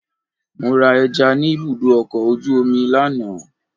Mo ra ẹja ni ibùdó ọkọ̀ ojú omi lánàá.